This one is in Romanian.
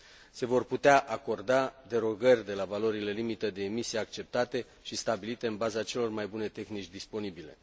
Se vor putea acorda derogări de la valorile de emisie acceptate și stabilite în baza celor mai bune tehnici disponibile.